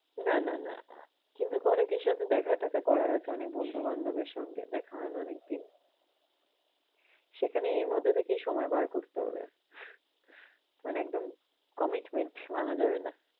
না না না কিন্তু অনেকের সাথে দেখা টেখা করার আছে, অনেক বন্ধু বান্ধবের সঙ্গে দেখা হয়না অনেক দিন। সেখানে এর মধ্যে থেকেই সময় বার করতে হবে। মানে একদম commitment ভাঙ্গা যাবে না।